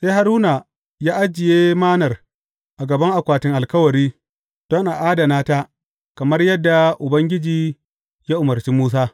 Sai Haruna ya ajiye Mannar a gaban Akwatin Alkawari, don a adana ta kamar yadda Ubangiji ya umarci Musa.